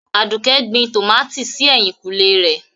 Aduke gbìn tọ́mátí sí èhìnkùnlè rẹ̀.